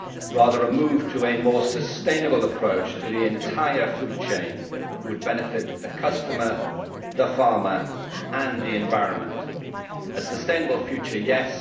Rather, a move to a more sustainable approach to the entire food chain would benefit the customer, the farmer and the environment a sustainable future, yes